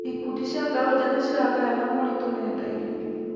Ikundi cia mbeũ njĩthĩ ciragayana moritũ nenda-inĩ.